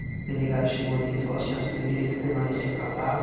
A delegada chegou nele e falou assim ó, você tem o direito de permanecer calado.